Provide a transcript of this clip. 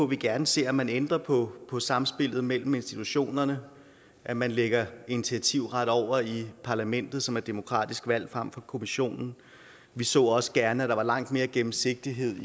vi gerne ser at man ændrer på samspillet mellem institutionerne at man lægger initiativretten over til parlamentet som er demokratisk valgt frem for til kommissionen vi så også gerne at der var langt mere gennemsigtighed